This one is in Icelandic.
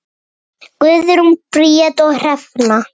Guðrún Bríet og Hrefna.